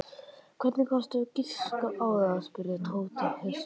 Hvernig gastu giskað á það? spurði Tóti hissa.